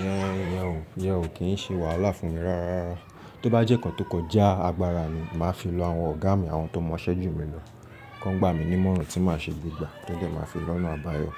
Íyan, ìyan ò kí ṣe wàhálà fún mi rárá. Tó bá jẹ́ nkán tó kọjá agbára mi, màá fi lọ àwọn ọ̀gá mi, àwọn tó mọ iṣẹ́ jù mí lọ, kan gba mi ní ìmọ̀ràn tí màá ṣe gbe gbà, to dẹ̀ ẹ ma fi lọ́nà àbáyọ.